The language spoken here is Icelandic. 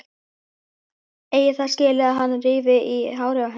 Eigi það skilið að hann rífi í hárið á henni.